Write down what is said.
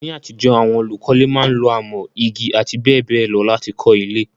Ní àtijọ́, àwon olùkọ́le máa n lo amọ́, igi àti béèbéè lo láti kó ilé